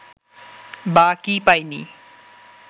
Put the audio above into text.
বা কী পাইনি